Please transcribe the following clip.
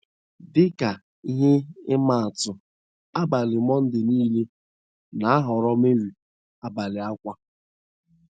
Dị ka ihe ima atụ abalị Monday nile na - aghọrọ Mary “ abalị ákwá. ”